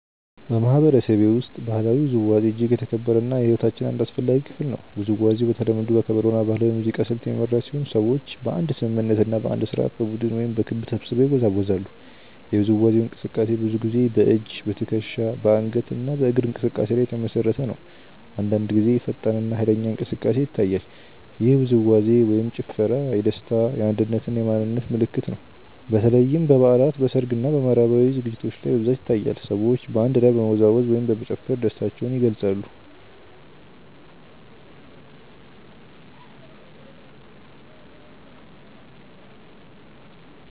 በማህበረሰቤ ውስጥ ባህላዊ ውዝዋዜ እጅግ የተከበረ እና የሕይወታችን አንድ አስፈላጊ ክፍል ነው። ውዝዋዜው በተለምዶ በከበሮ እና በባህላዊ ሙዚቃ ስልት የሚመራ ሲሆን ሰዎች በአንድ ስምምነት እና በአንድ ስርዓት በቡድን ወይም በክብ ተሰብስበው ይወዛወዛሉ። የውዝዋዜው እንቅስቃሴ ብዙ ጊዜ በእጅ፣ በትከሻ፣ በአንገት እና በእግር እንቅስቃሴ ላይ የተመሰረተ ነው። አንዳንድ ጊዜ ፈጣን እና ኃይለኛ እንቅስቃሴ ይታያል። ይህ ውዝዋዜ/ ጭፈራ የደስታ፣ የአንድነት እና የማንነት ምልክት ነው። በተለይም በበዓላት፣ በሰርግ እና በማህበራዊ ዝግጅቶች ላይ በብዛት ይታያል። ሰዎች በአንድ ላይ በመወዛወዝ ወይም በመጨፈር ደስታቸውን ይገልጻሉ።